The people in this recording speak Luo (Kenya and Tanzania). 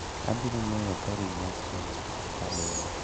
Abiro ng'eyo ka ring'o ochiek kabilo